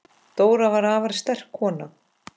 Dóra var afar stolt kona.